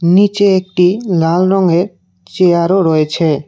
নীচে একটি লাল রঙের চেয়ারও রয়েছে।